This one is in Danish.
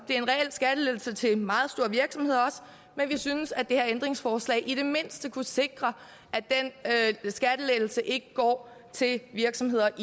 en reel skattelettelse til meget store virksomheder men vi synes at det her ændringsforslag i det mindste kunne sikre at den skattelettelse ikke går til virksomheder